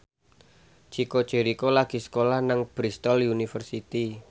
Chico Jericho lagi sekolah nang Bristol university